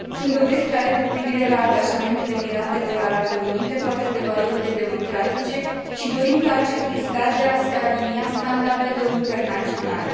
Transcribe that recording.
Sunt dovezi clare cu privire la atașamentul Emiratelor Arabe Unite față de valorile democratice și dorința acestui stat de a se alinia standardelor internaționale.